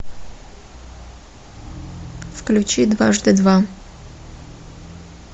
включи дважды два